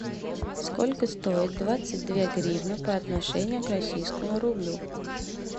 сколько стоит двадцать две гривны по отношению к российскому рублю